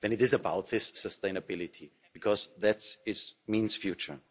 Then it is about this sustainability, because that means future.